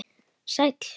Sæll